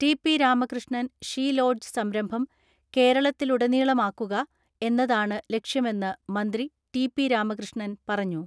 T. P. Ramakrishnan she lodge സംരംഭം കേരളത്തിലുടനീളമുാക്കുക എന്നതാണ് ലക്ഷ്യമെന്ന് മന്ത്രി ടി.പി.രാമകൃഷ്ണൻ പറഞ്ഞു.